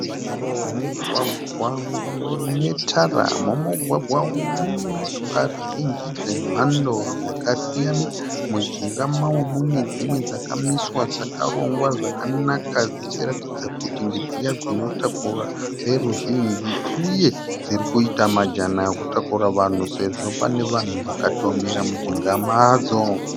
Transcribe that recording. Mugwagwa unetara. Mumugwagwa umu munemotokari zhinji dzemhando dzakasiyana. Mujinga mawo munedzimwe dzakamiswa dzakarongwa zvakanaka dzichiratidza kuti ndedziya dzinotakura veruzhinji uye dzirikuita majana ekutakura vanhu sezvo pane vanhu vakatomira mujinga madzo.